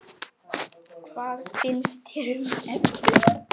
Hvað finnst þér um efnið?